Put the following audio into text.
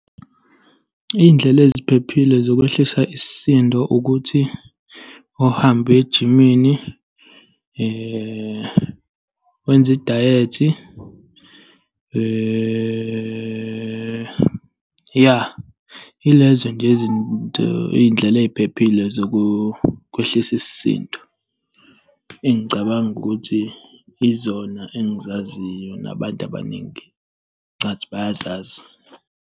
Iy'ndlela eziphephile zokweshesha isisindo ukuthi uhambe uye ejimini, wenze idayethi. Ya, ilezo nje izinto, iy'ndlela eziphephile zokwehlisa isisindo engicabanga ukuthi izona engizaziyo, nabantu abaningi ngicathi bayazazi.